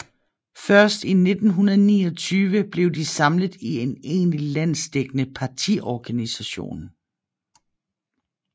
Først i 1929 blev de samlet i en egentlig landsdækkende partiorganisation